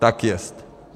Tak jest.